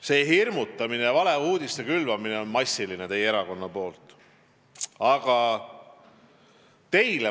See hirmutamine, valeuudiste külvamine teie erakonna poolt on massiline.